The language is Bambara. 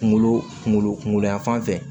Kunkolo kungolo kungolo yanfan fɛ